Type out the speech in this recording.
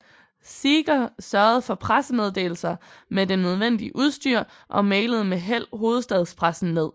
Seeger sørgede for pressemeddelelser med det nødvendige udstyr og mailede med held hovedstadspressen ned